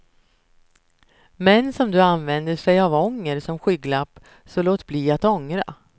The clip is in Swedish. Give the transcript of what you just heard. Män som du använder sig av ånger som skygglapp, så låt bli att ångra.